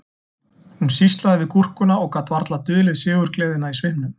Hún sýslaði við gúrkuna og gat varla dulið sigurgleðina í svipnum